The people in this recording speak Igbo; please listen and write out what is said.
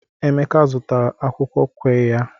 Emeka zụtara akwukwo qirya.